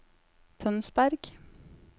Tønsberg